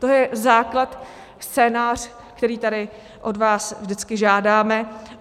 To je základ, scénář, který tady od vás vždycky žádáme.